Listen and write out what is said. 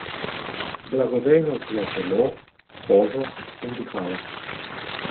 Blagodejnost za telo, kožo in dihala.